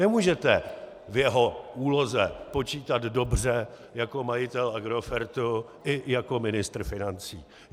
Nemůžete v jeho úloze počítat dobře jako majitel Agrofertu i jako ministr financí.